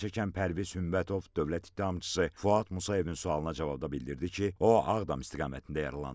Zərərçəkən Pərviz Hümbətov Dövlət ittihamçısı Fuad Musayevin sualına cavabda bildirdi ki, o, Ağdam istiqamətində yaralanıb.